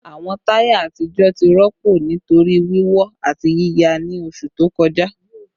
Awọn taya atijọ ti rọpo nitori wiwọ ati yiya ni oṣu to kọja